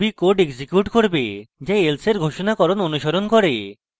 এটি ruby code execute করবে যা else এর ঘোষণাকরণ অনুসরণ করে